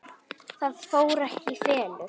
Það fór ekki í felur.